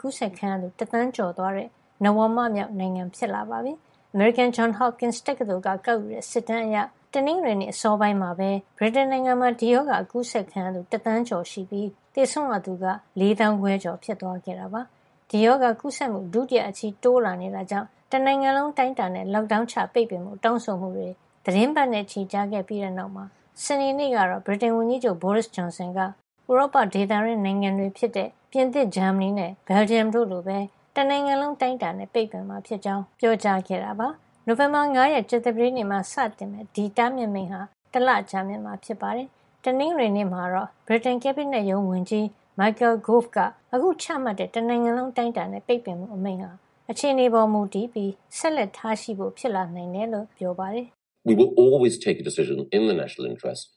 ကူးစက်ခံရသူ တသန်းကျော်သွားတဲ့ နဝမမြောက်နိုင်ငံ ဖြစ်လာပါပြီ။ အမေရိကန် Johns Hopkins တက္ကသိုလ်က ကောက်ယူတဲ့ စစ်တမ်းအရ တနင်္ဂနွေနေ့ အစောပိုင်းမှာပဲ ဗြိတိန်နိုင်ငံမှာ ဒီရောဂါကူးစက်ခံရသူ ၁,၀၁၄,၇၉၄ ရှိပြီး သေဆုံးရသူက ၄ သောင်းခွဲကျော် ဖြစ်သွားခဲ့တာပါ။ ဒီရောဂါကူးစက်မှု ဒုတိယအချီ တိုးလာနေတာကြောင့် တနိုင်ငံလုံး အတိုင်းအတာနဲ့ Lockdown ချ ပိတ်ပင်ဖို့ တောင်းဆိုမှုတွေ သီတင်းပတ်နဲ့ချီ ကြာခဲ့တဲ့နောက် စနေနေ့ကတော့ ဗြိတိန်ဝန်ကြီးချုပ် Boris Johnson က ဥရောပဒေသတွင်း နိုင်ငံတွေဖြစ်တဲ့ ပြင်သစ်၊ ဂျာမနီနဲ့ ဘယ်လ်ဂျီယံတို့လိုပဲ တနိုင်ငံလုံး အတိုင်းအတာနဲ့ ပိတ်ပင်မှာဖြစ်ကြောင်း ပြောခဲ့တာပါ။ နိုဝင်ဘာ ၅ ရက် ကြာသပတေးနေ့မှာ စတင်မယ့် ဒီတားမြစ်မိန့်ဟာ တလကြာမြင့်မှာ ဖြစ်ပါတယ်။ တနင်္ဂနွေနေ့မှာတော့ ဗြိတိန် ကက်ဘိနက်ရုံးဝန်ကြီး Michael Gove က အခုချမှတ်တဲ့ တနိုင်ငံလုံး အတိုင်းအတာနဲ့ ပိတ်ပင်မှုအမိန့်ဟာ အခြေနေပေါ်မူတည်ပြီး ဆက်လက်ထားရှိဖို့ ဖြစ်လာနိုင်တယ်လို့ Sky သတင်းဌာနရဲ့ မေးမြန်းခန်းမှာ ပြောပါတယ်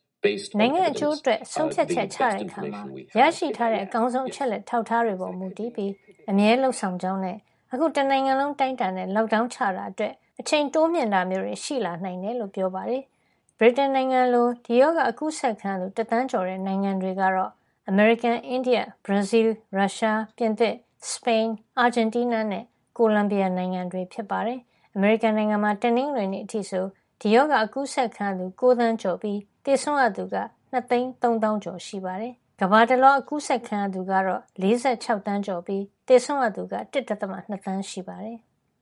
။ “နိုင်ငံ့အကျိုးအတွက် ဆုံးဖြတ်ချက်ချတဲ့အခါမှာ ကျနော်တို့ရထားတဲ့ အကောင်းဆုံး အချက်လက် အထောက်ထား အချက်လက်တွေပေါ် မူတည်ပြီး အမြဲလုပ်ဆောင်ကြောင်းနဲ့ အခု တနိုင်ငံလုံး အတိုင်းအတာနဲ့ Lockdown ချတာအတွက် အချိန်တိုးမြှင့် ချမှတ်တာမျိုး ရှိလာနိုင်ကြောင်း” ပြောပါတယ်။ ဗြိတိန်နိုင်ငံလို ဒီရောဂါ ကူးစက်ခံရသူ တသန်းကျော်တဲ့ နိုင်ငံတွေကတော့ အမေရိကန်၊ အိန္ဒိယ၊ ဘရာဇီးလ်၊ ရုရှား၊ ပြင်သစ်၊ စပိန်၊ အာဂျင်တီးနား၊ ကိုလံဘီယာနိုင်ငံတွေ ဖြစ်ပါတယ်။ အမေရိကန်နိုင်ငံမှာ တနင်္ဂနွေနေ့အထိဆို ဒီရောဂါ ကူးစက်ခံရသူ ၉ သန်းကျော်ရှိပြီး သေဆုံးရသူက ၂၃၀,၀၀၀ ကျော် ရှိနေတာပါ။ တနင်္ဂနွေနေ့မှာ ကမ္ဘာတလွှား COVID-19 ကူးစက်သူ ၄၆ သန်းကျော် ရှိနေပြီး သေဆုံးရသူက ၁.၂ သန်း ရှိနေပါတယ်။